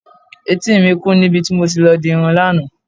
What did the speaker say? Etí mi kún níbi tí mo ti lọ dirun lánàá.